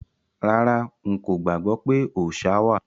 Rárá,n kò gbàgbọ́ pé òòṣa wà.